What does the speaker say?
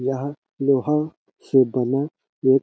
यहाँ लोहा से बना एक--